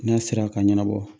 N'a sera ka ɲɛnabɔ